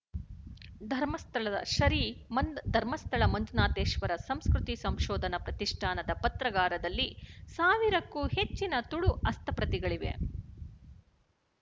ಧರ್ಮಸ್ಥಳದ ಶರೀ ಮಂದ್ ಧರ್ಮಸ್ಥಳ ಮಂಜುನಾಥೇಶವರ ಸಂಸ್ಕೃತಿ ಸಂಶೋಧನಾ ಪ್ರತಿಷ್ಠಾನದ ಪತ್ರಾಗಾರದಲ್ಲಿ ಸಾವಿರಕ್ಕೂ ಹೆಚ್ಚಿನ ತುಳು ಹಸ್ತಪ್ರತಿಗಳಿವೆ